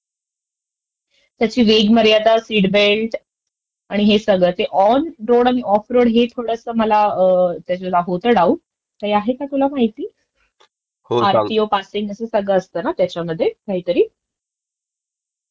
बरोबर मी सांगतो तुला, कसं आहे माहितेय एक्स शोरुम जी असते ना ती फक्त गाडीची कॉस्ट असते, त्यंच्यानंतर मग बाकीच्या गोष्टी ऍड होतात, त्याच्यामध्ये पहिला असतो गाडीचा विमा, इन्शुरन्स दुसरा असतो आरचीओ